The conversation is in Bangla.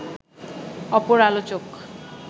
অপর আলোচক